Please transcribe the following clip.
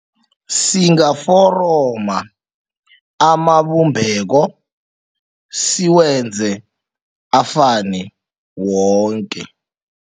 Singaforoma amabumbeko siwenze afane woke.